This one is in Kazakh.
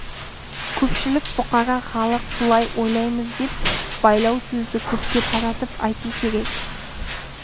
көпшілік бұқара халық былай ойлаймыз деп байлау сөзді көпке таратып айту керек